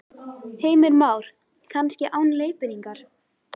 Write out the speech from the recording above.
Heimir Már: Kannski án leiðbeiningar?